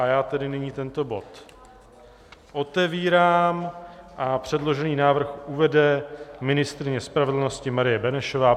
A já tedy nyní tento bod otevírám a předložený návrh uvede ministryně spravedlnosti Marie Benešová.